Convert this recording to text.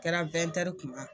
Kɛra kuma.